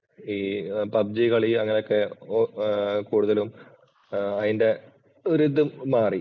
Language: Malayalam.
ഈ പബ്ജി കളി അങ്ങനെയൊക്കെ കൂടുതലും അതിന്‍റെ ഒരു ഇത് മാറി